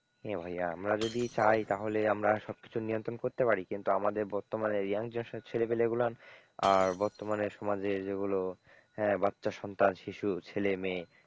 এ ভাই আমরা যদি চাই তাহলে আমরা সবকিছুর নিয়ন্ত্রণ করতে পারি কিন্তু আমাদের বর্তমানের young generation এর ছেলেপিলেগুলো আর বর্তমানে সমাজের যেগুলো হ্যাঁ বাচ্চা সন্তান শিশু ছেলে মেয়ে,